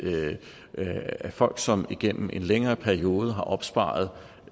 folk som igennem en længere periode har opsparet